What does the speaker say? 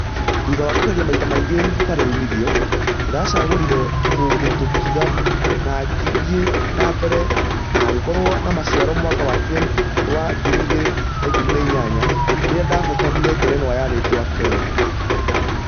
Thutha wa kũgeria maita maingĩ hatarĩ ũmithio , ndĩracagũrire gũtotiga na ngĩthie na mbere na hagekorwo na maciaro mwaka wa 2018 rĩrĩa ndahotqnire ngerenwa ya rĩtwa ....kenya.